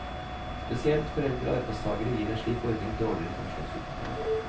Spesielt for eldre arbeidstagere gir en slik ordning dårligere pensjonsutbetaling.